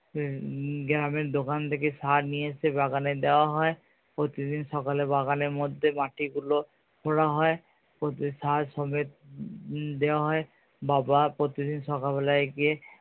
উম গ্রামের দোকান থেকে সার দিয়ে এসে বাগানে দেওয়া হয় প্রতিদিন সকালে বাগানের মধ্যে মাটি গুলো খোঁড়া হয় ওতে সার সমেত দেওয়া হয়। বাবা প্রতিদিন সকাল বেলায় গিয়ে